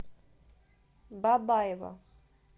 бабаево